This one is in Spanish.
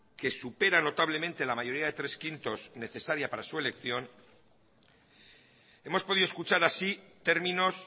que supera notablemente la mayoría de tres quintos necesaria para su elección hemos podido escuchar así términos